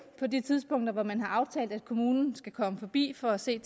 på de tidspunkter hvor man har aftalt at kommunen skal komme forbi for at se